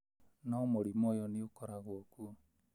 no mũrimũ ũyũ nĩ ũkoragwo kuo.